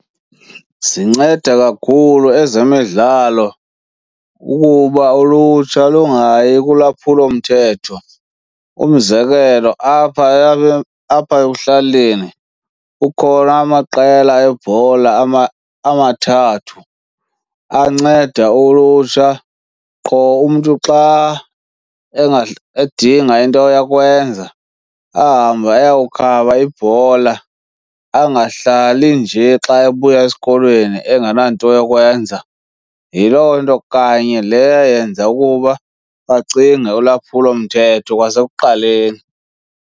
Zinceda kakhulu ezemidlalo ukuba ulutsha lungayi kulwaphulomthetho. Umzekelo, apha apha ekuhlaleni kukhona amaqela ebhola amathathu anceda ulutsha qho umntu xa edinga into yokwenza ahambe ayokukhaba ibhola, angahlali nje xa ebuya esikolweni engenanto yokwenza. Yiloo nto kanye le yayenza ukuba bacinge ulwaphulomthetho kwasekuqaleni.